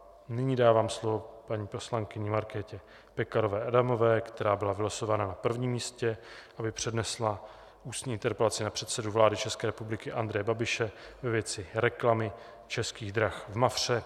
Nyní dávám slovo paní poslankyni Markétě Pekarové Adamové, která byla vylosována na prvním místě, aby přednesla ústní interpelaci na předsedu vlády České republiky Andreje Babiše ve věci reklamy Českých drah v Mafře.